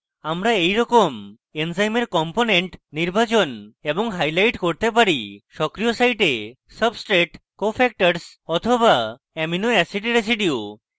আমরা এইরকম এনজাইমের components নির্বাচন এবং highlight করতে পারি: সক্রিয় site substrate cofactors বা amino acid residues